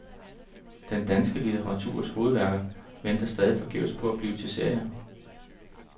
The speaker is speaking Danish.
Den danske litteraturs hovedværker venter stadig forgæves på at blive til serier.